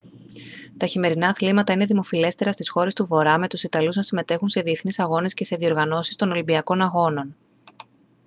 τα χειμερινά αθλήματα είναι δημοφιλέστερα στις χώρες του βορρά με τους ιταλούς να συμμετέχουν σε διεθνείς αγώνες και σε διοργανώσεις των ολυμπιακών αγώνων